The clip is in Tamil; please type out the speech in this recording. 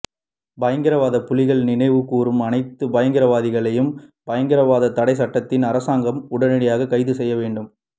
பயங்கரவாத புலிகளை நினைவு கூறும் அனைத்து பயங்கரவாதிகளையும் பயங்கரவாத தடை சட்டத்தில் அரசாங்கம் உடனடியாக கைது செய்ய வேண்டும்